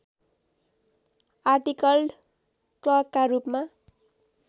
आर्टिकल्ड क्लर्कका रूपमा